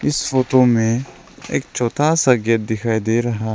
इस फोटो में एक छोटा सा गेट दिखाई दे रहा --